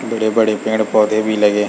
बड़े -बड़े पेड़-पौधे भी लगे है।